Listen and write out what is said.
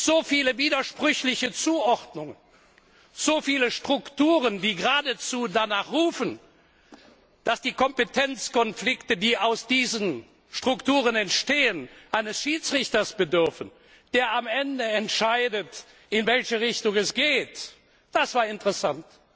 So viele widersprüchliche Zuordnungen, so viele Strukturen, die geradezu danach rufen, dass die Kompetenzkonflikte, die aus diesen Strukturen entstehen, eines Schiedsrichters bedürfen, der am Ende entscheidet, in welche Richtung es geht, das war interessant!